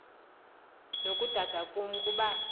nokudada kum kuba